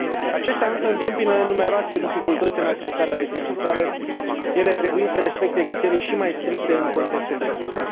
Acestea însă întâmpină numeroase dificultăți în accesarea de finanțare, ele trebuind să respecte criterii și mai stricte în contextul de criză.